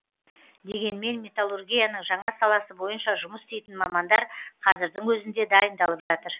дегенмен металлургияның жаңа саласы бойынша жұмыс істейтін мамандар қазірдің өзінде дайындалып жатыр